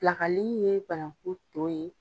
Pilakali ye banakun to ye